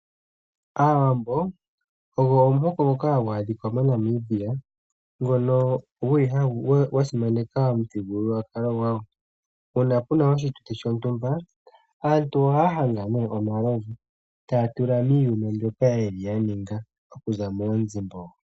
Aawambo ogo omuhoko ngoka hagu adhika moNamibia ngono gwa simaneka omuthigululwakalo gwawo. Uuna pu na oshituthi shontumba aantu ohaya hanga omalovu e taya tula miiyuma mbyoka ya ninga okuza moonzimbogo.